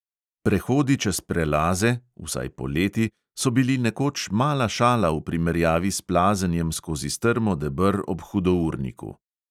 Prehodi čez prelaze, vsaj poleti, so bili nekoč mala šala v primerjavi s plazenjem skozi strmo deber ob hudourniku.